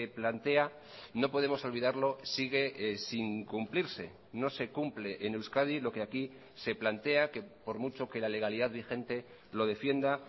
plantea no podemos olvidarlo sigue sin cumplirse no se cumple en euskadi lo que aquí se plantea que por mucho que la legalidad vigente lo defienda